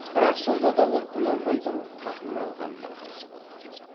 бірақ сонда да ол құнанбайдың қатын алғанына қарсы болды